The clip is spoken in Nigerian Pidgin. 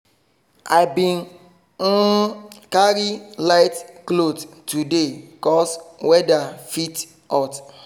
i bin um carry light cloth today cos weather fit hot